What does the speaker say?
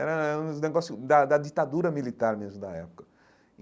Era era um negócio da da ditadura militar mesmo da época.